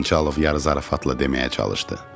Xançalov yarızarafatla deməyə çalışdı.